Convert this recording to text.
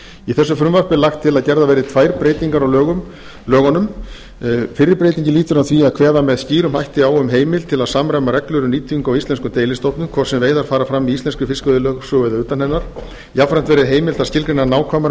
í þessu frumvarpi er lagt til gerðar verði tvær breytingar á lögunum fyrri breytingin lýtur að því að kveða með skýrum hætti á um heimild til að samræma reglur um nýtingu á íslenskum deilistofnum hvort sem veiðar fara fram í íslenskri fiskveiðilögsögu eða utan hennar jafnframt verði heimilt að skilgreina nákvæmar